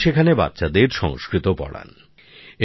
তিনি সেখানে বাচ্চাদের সংস্কৃত পড়ান